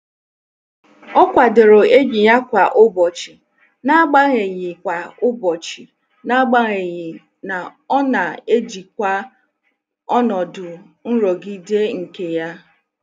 O kwadoro enyi ya kwa ụbọchị, n'agbanyeghị kwa ụbọchị, n'agbanyeghị na ọ na-ejikwa ọnọdụ nrụgide nke ya.